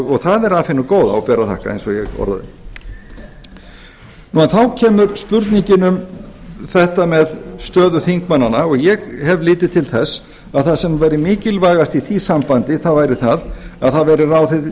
og það er af hinu góða og ber að þakka eins og ég orðaði þá kemur spurningin um þetta með stöðu þingmannanna og ég hef litið til þess að það sem væri mikilvægast í því sambandi væri að það væri ráðið